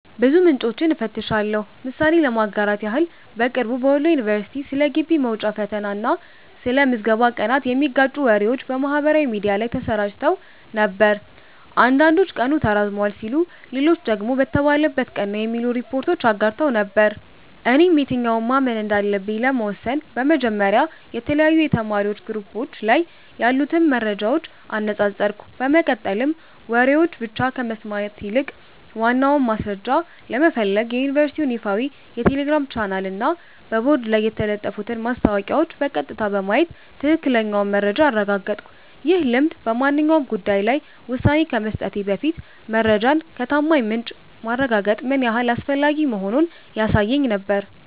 ብዙ ምንጮችን እፈትሻለሁ። ምሳሌ ለማጋራት ያህል፦ በቅርቡ በወሎ ዩኒቨርሲቲ ስለ ግቢ መውጫ ፈተና እና ስለ ምዝገባ ቀናት የሚጋጩ ወሬዎች በማህበራዊ ሚዲያ ላይ ተሰራጭተው ነበር። አንዳንዶች ቀኑ ተራዝሟል ሲሉ፣ ሌሎች ደግሞ በተባለበት ቀን ነው የሚሉ ሪፖርቶችን አጋርተው ነበር። እኔም የትኛውን ማመን እንዳለብኝ ለመወሰን በመጀመሪያ የተለያዩ የተማሪዎች ግሩፖች ላይ ያሉትን መረጃዎች አነጻጸርኩ፤ በመቀጠልም ወሬዎችን ብቻ ከመስማት ይልቅ ዋናውን ማስረጃ ለመፈለግ የዩኒቨርሲቲውን ይፋዊ የቴሌግራም ቻናልና በቦርድ ላይ የተለጠፉትን ማስታወቂያዎች በቀጥታ በማየት ትክክለኛውን መረጃ አረጋገጥኩ። ይህ ልምድ በማንኛውም ጉዳይ ላይ ውሳኔ ከመስጠቴ በፊት መረጃን ከታማኝ ምንጭ ማረጋገጥ ምን ያህል አስፈላጊ መሆኑን ያሳየኝ ነበር።